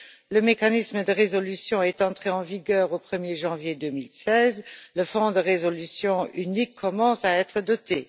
le mécanisme de résolution est entré en vigueur au 1er janvier 2016, le fonds de résolution unique commence à être doté.